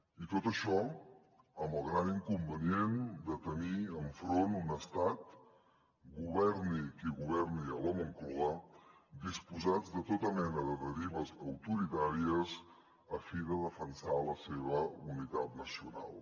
i tot això amb el gran inconvenient de tenir enfront un estat governi qui governi a la moncloa disposat de tota mena de derives autoritàries a fi de defensar la seva unitat nacional